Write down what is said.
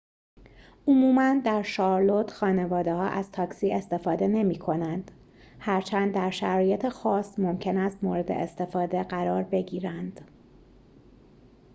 عموماً در شارلوت خانواده‌ها از تاکسی استفاده نمی‌کنند هرچند در شرایط خاص ممکن است مورد استفاده قرار بگیرند